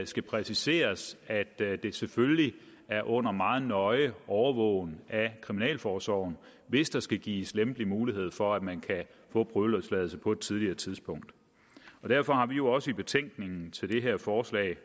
skal præciseres at det det selvfølgelig er under meget nøje overvågning af kriminalforsorgen hvis der skal gives lempelig mulighed for at man kan få prøveløsladelse på et tidligere tidspunkt derfor har vi jo også i betænkningen til det her forslag